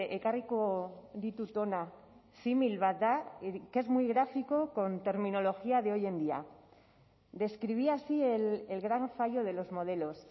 ekarriko ditut hona simil bat da que es muy gráfico con terminología de hoy en día describía así el gran fallo de los modelos